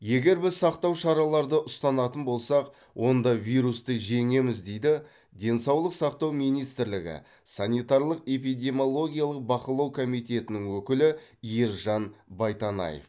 егер біз сақтау шараларды ұстанатын болсақ онда вирусты жеңеміз дейді денсаулық сақтау министрлігі санитарлық эпидемиологиялық бақылау комитетінің өкілі ержан байтанаев